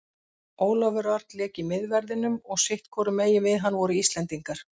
Ólafur Örn lék í miðverðinum og sitthvorum megin við hann voru Íslendingar.